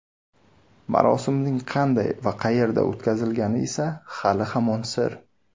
Marosimning qanday va qayerda o‘tkazilgani esa hali-hamon sir.